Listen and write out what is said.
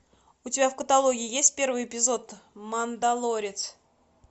у тебя в каталоге есть первый эпизод мандалорец